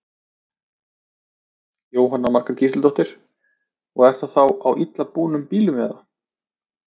Jóhanna Margrét Gísladóttir: Og er það þá á illa búnum bílum eða?